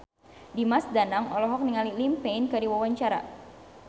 Dimas Danang olohok ningali Liam Payne keur diwawancara